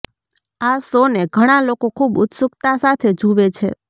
આ શો ને ઘણા લોકો ખુબ ઉત્સુકતા સાથે જુવે છે